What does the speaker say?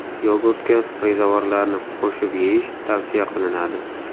Yogurtga rezavorlarni qo‘shib yeyish tavsiya qilinadi.